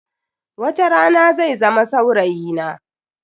Watarana zai zama saurayi na.